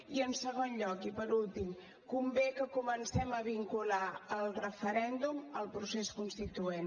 i en segon lloc i per últim convé que comencem a vincular el referèndum al procés constituent